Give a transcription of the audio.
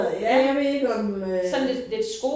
Ja jeg ved ikke om øh